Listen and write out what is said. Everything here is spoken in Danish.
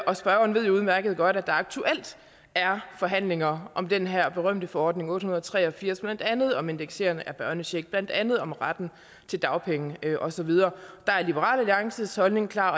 og spørgeren ved jo udmærket godt at der aktuelt er forhandlinger om den her berømte forordning otte hundrede og tre og firs blandt andet om indeksering af børnechecks blandt andet om retten til dagpenge og så videre der er liberal alliances holdning klar